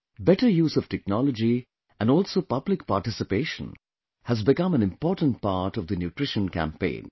Better use of technology and also public participation has become an important part of the Nutrition campaign